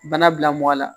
Bana bila mɔgɔ la